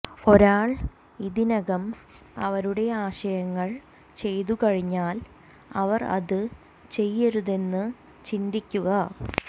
ഒരാൾ ഇതിനകം അവരുടെ ആശയങ്ങൾ ചെയ്തുകഴിഞ്ഞാൽ അവർ അത് ചെയ്യരുതെന്ന് ചിന്തിക്കുക